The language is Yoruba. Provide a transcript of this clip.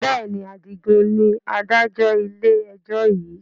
Bẹ́ẹ̀ni, Adigun ni Adájọ́ ilé ẹjọ́ yiii